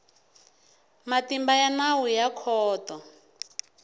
matimba ya nawu ya khoto